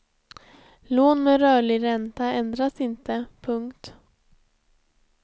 Lån med rörlig ränta ändras inte. punkt